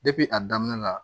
a daminɛ la